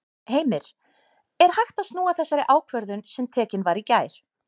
Heimir: Er hægt að snúa þessari ákvörðun sem tekin var í gær?